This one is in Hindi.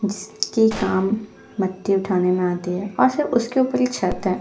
जिस के काम मिट्टी उठाने में आते हैं और फिर उसके ऊपर एक छत है।